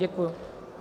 Děkuji.